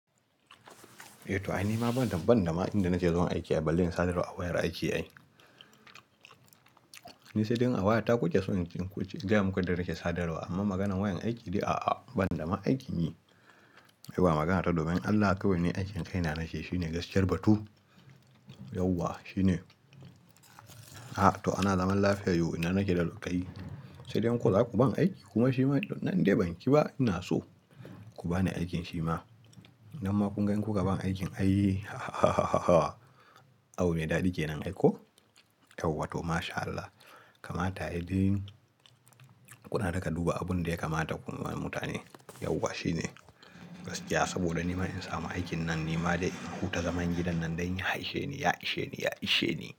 Eh to ai ni ma ban dam, ban dama inda nake zuwa aiki a ballin sadarwa a wayar aiki ai ni sai dai wayar ta kuje so kin kuje, jamu ka da take sadarwa amma maganan wayan aiki dai a'a ban dama aikin yi. Eh ba magana ta daban Allah kawai ne aikin kai na nake shi ne gaskiyar batu. Yauwa shi ne. A'a to ana zaman lafiya yau ina nake da lokaci. Sai dai ko zaku ban aiki kuma shi ma nan dai ban ƙi ba ina so ku bani aikin shi ma. Nan ma kun gan ku ka ban aikin ayii abu mai dadi kenan ai ko? Yauwa to mashAllah. Kamata yayin kuna daga duba abun da ya kamata ku yi wa mutane. Yauwa shi ne gaskiya saboda ni ma in samu aikin nan ni ma dai in huta zaman gidan nan dai ya isheni, ya isheni, ya isheni.